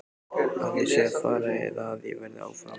Að ég sé að fara eða að ég verði áfram?